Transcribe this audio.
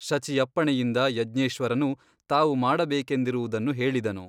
ಶಚಿಯಪ್ಪಣೆಯಿಂದ ಯಜ್ಞೇಶ್ವರನು ತಾವು ಮಾಡಬೇಕೆಂದಿರುವುದನ್ನು ಹೇಳಿದನು.